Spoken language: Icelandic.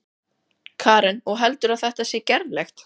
Karen: Og heldurðu að þetta sé gerlegt?